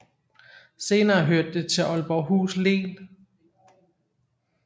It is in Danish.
Senere hørte det til Aalborghus Len